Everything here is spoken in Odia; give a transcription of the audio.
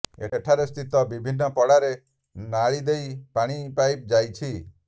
ଏଠାରେ ସ୍ଥିତ ବିଭିନ୍ନ ପଡ଼ାରେ ନାଳି ଦେଇ ପାଣି ପାଇପ ଯାଇଛି